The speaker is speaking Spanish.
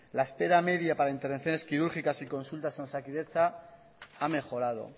la espera media para intervenciones quirúrgicas y consultas en osakidetza ha mejorado